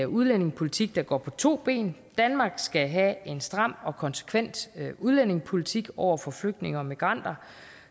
udlændingepolitik der går på to ben danmark skal have en stram og konsekvent udlændingepolitik over for de flygtninge og migranter